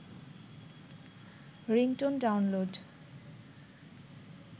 ringtone download